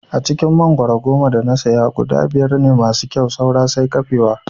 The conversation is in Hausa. A cikin mangwaro goma da na saya guda biyar ne masu kyau saura sai kafewa